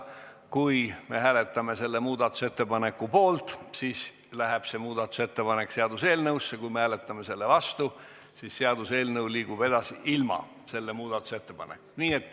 Kui me hääletame selle muudatusettepaneku poolt, siis läheb see ettepanek seaduseelnõusse, kui me hääletame selle vastu, siis seaduseelnõu liigub edasi ilma selle muudatusettepanekuta.